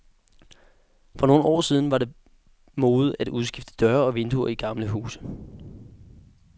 For nogle år siden var det mode at udskifte døre og vinduer i gamle huse.